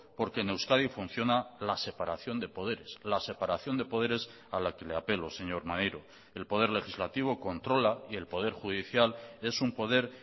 porque en euskadi funciona la separación de poderes la separación de poderes a la que le apelo señor maneiro el poder legislativo controla y el poder judicial es un poder